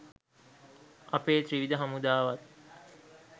අපේ ත්‍රිවිධ හමුදාවත්